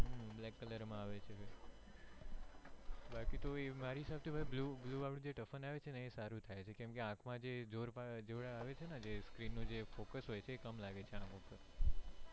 black color માં વે છે બાકી તો મારી safety માં blue વાળું typhoon આવે છે ને એ સારું થાય છે કેમ કે આંખ માં જે જોર આવે છે screen નો જે focus હોય છે કમ લાગે છે અમુક તો